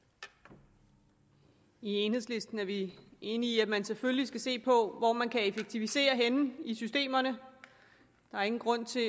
i enhedslisten er vi enige i at man selvfølgelig skal se på hvor man kan effektivisere henne i systemerne der er ingen grund til